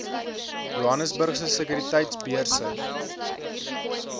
johannesburgse sekuriteitebeurs jse